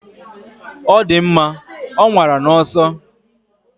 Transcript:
Ọ dị mma, ọ nwara n'ọsọ.